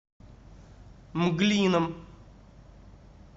мглином